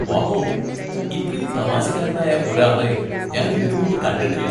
Wow ! ഇത്രയും തമാശക്കാരനായ ഒരാളെ ഞാൻ ഇതിന് മുമ്പ് കണ്ടിട്ടില്ല!